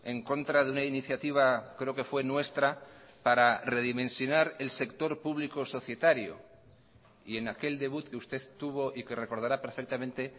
en contra de una iniciativa creo que fue nuestra para redimensionar el sector público societario y en aquel debut que usted tuvo y que recordará perfectamente